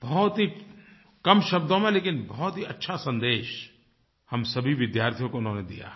बहुत ही कम शब्दों में लेकिन बहुत ही अच्छा सन्देश हम सभी विद्यार्थियों को उन्होंने दिया है